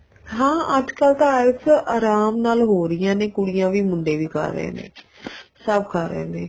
ਹਾਂ ਅੱਜਕਲ ਤਾਂ IELTS ਆਰਾਮ ਨਾਲ ਹੋ ਰਹੀਆਂ ਨੇ ਕੁੜੀਆਂ ਵੀ ਮੁੰਡੇ ਵੀ ਕਰ ਰਹੇ ਨੇ ਸਭ ਕਰ ਰਹੇ ਨੇ